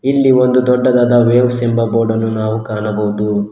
ಇಲ್ಲಿ ಒಂದು ದೊಡ್ಡದಾದ ವೇವ್ಸ್ ಎಂಬ ಬೋಡನ್ನು ನಾವು ಕಾಣಬಹುದು.